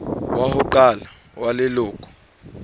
wa ho qala wa leloko